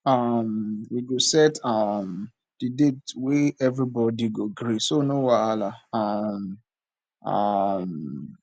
um we go set um di date wey everybody go gree so no wahala um um